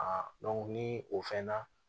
ni o fɛn na